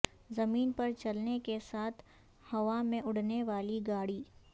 زمین پر چلنے کیساتھ ہوا میں اڑنے والی گاڑی